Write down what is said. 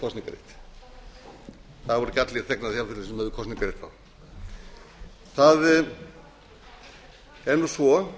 kosningarrétt það voru ekki allir þegnar þjóðfélagsins sem höfðu kosningarrétt þá eins og